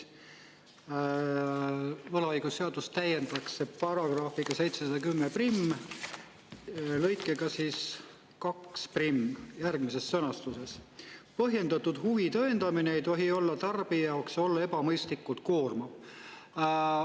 Võlaõigusseadust täiendatakse § 7101 lõikega 21 järgmises sõnastuses: "Põhjendatud huvi tõendamine ei tohi tarbija jaoks olla ebamõistlikult koormav.